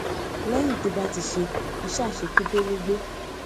léyìn tó bá ti ṣe iṣé àṣekúdórógbó